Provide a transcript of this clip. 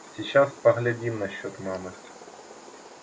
сейчас поглядим насчёт мамы